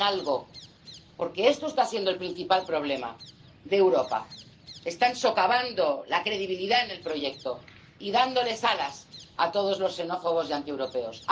Hagan algo, porque este está siendo el principal problema de Europa están socavando la credibilidad del proyecto y dándoles alas a todos los xenófobos y antieuropeos.